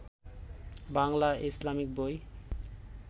Bangla Islamic বই